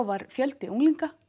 var fjöldi unglinga